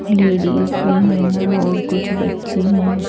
Ladies भी हैं और कुछ बच्चे हैं।